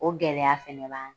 O gɛlɛya fana b'an